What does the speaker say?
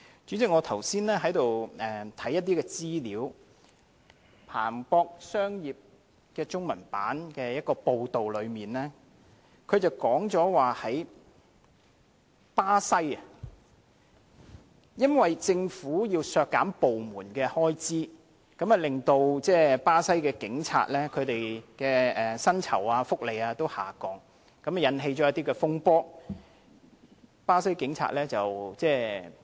主席，我剛才看過《彭博商業周刊》中文版的一篇報道，據報巴西政府因為要削減政府部門開支，以致巴西警察薪酬和福利均下降，引起巴西警察罷工的風波。